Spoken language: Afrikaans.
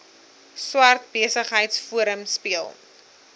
swart besigheidsforum speel